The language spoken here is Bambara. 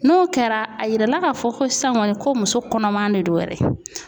N'o kɛra a yirala k'a fɔ ko san kɔni ko muso kɔnɔma de don yɛrɛ.